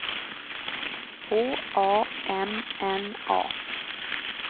H A M N A